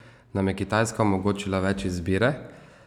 Nam je Kitajska omogočila več izbire?